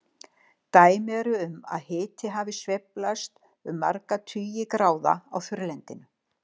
Dæmi eru um að hiti hafi sveiflast um marga tugi gráða á þurrlendinu.